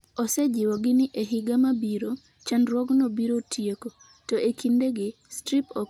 Osejiwogi ni e higa mabiro, chandruokno biro tieko, to "e kindegi, strip ok ni e chenro mar chiemo".